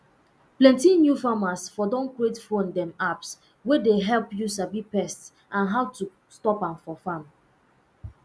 plenty new farmers um don create phone um apps wey dey help you sabi pest and how to stop am for farm